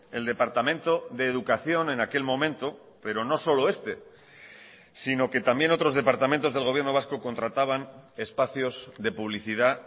el departamento de educación en aquel momento pero no solo este sino que también otros departamentos del gobierno vasco contrataban espacios de publicidad